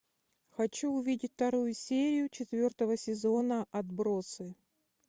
хочу увидеть вторую серию четвертого сезона отбросы